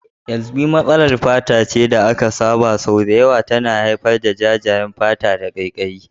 Kyasbi, matsalar fata da aka saba, sau da yawa tana haifar da jajayen fata da ƙaiƙayi.